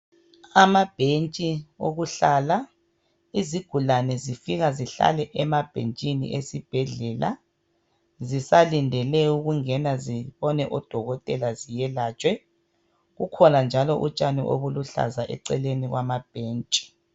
Amabhentshi okuhlala izigulane zifika zihlale emabhentshini esibhedlela zisalindele ukungena zibone odokotela ziyelatshwe kukhona njalo utshani obuluhlaza eceleni kwamabhentshi.